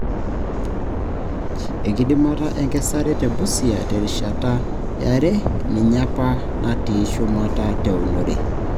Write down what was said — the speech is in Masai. Enkidimata enkesare te Busia terishata yare ninye apa naatii shumata teunore e MS.